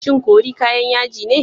Shin curry kayan yaji ne?